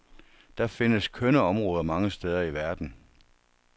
Der findes kønne områder mange steder i verden.